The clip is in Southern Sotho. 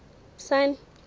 sun